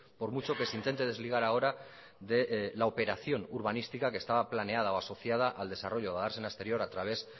por mucho que se intente desligar ahora de la operación urbanística que estaba planeada o asociada al desarrollo de la dársena exterior a través